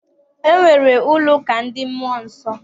E nwere ụlọ ụka ndị mmụọ nsọ.